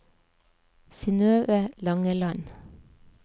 Synnøve Langeland